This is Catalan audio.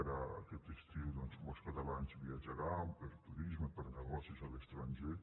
ara aquest estiu doncs molts catalans viatjaran per turisme per negocis a l’estranger